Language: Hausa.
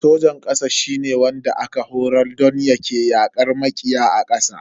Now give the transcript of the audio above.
Sojan kasa shine wanda aka horar don yake yakar makiya a ƙasa.